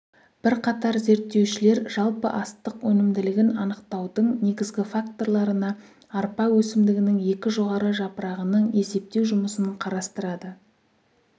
бірқатар зерттеушілер жалпы астық өнімділігін анықтаудың негізгі факторларына арпа өсімдігінің екі жоғары жапырағының есептеу жұмысын қарастырады